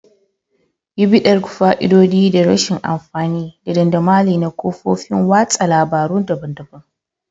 Yi bitar fa'idodi da rashin amfani da dandamali na kafofin watsa labarun daban-daban.